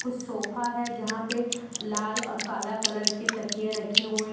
Sofa है यहां पे लाल और काला कलर के तकिए रखे हुए हैं।